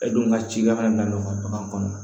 E dun ka cikan na bagan kɔnɔna na